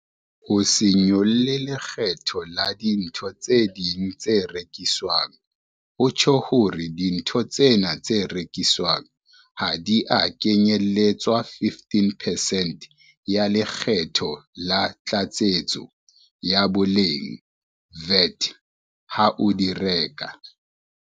Ho se nyolle lekgetho la dintho tse ding tse rekiswang ho tjho hore dintho tsena tse rekiswang ha di a kenyeletswa 15 percent ya Le kgetho la Tlatsetso ya Boleng, VAT, ha o di reka.